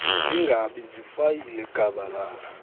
zingabi ziifayile gabalala